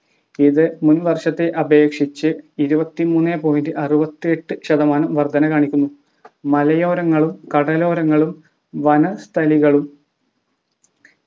ഇത് മുൻ വർഷത്തെ അപേക്ഷിച്ച് ഇപത്തിമൂന്ന് point അറുവതിഎട്ട് ശതമാനം വർദ്ധന കാണിക്കുന്നു മലയോരങ്ങളും കടലോരങ്ങളും വനസ്ഥലികളും